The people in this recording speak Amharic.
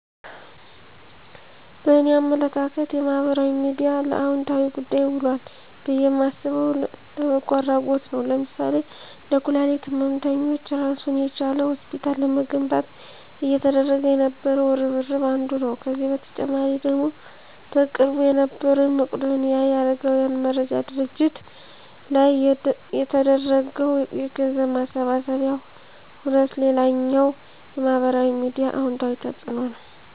በእኔ አመለካከት የማህበራዊ ሚድያ ለአወንታዊ ጉዳይ ውሏል ብየ ማስበው፣ ለበጎ አድረጎት ነዉ ለምሳሌ ለኩላሊት ህመምተኞች እራሱን የቻለ ሆስፒታል ለመገንባት እየተደረገ የነበረው እርብርብ አንዱ ነው። ከዚህ በተጨማሪ ደግሞ በቅርቡ የነበረዉ የመቄዶንያ የአረጋውያን መርጃ ድርጅት ላይ የተደረገው የገንዘብ ማሰባሰቢያ ሁነት ሌላኛው የማህበራዊ ሚዲያ አወንታዊ ተፅእኖ ነዉ።